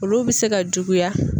Olu bɛ se ka juguya.